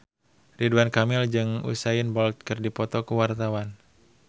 Ridwan Kamil jeung Usain Bolt keur dipoto ku wartawan